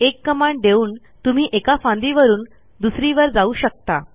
एक कमांड देऊन तुम्ही एका फांदीवरून दुसरीवर जाऊ शकता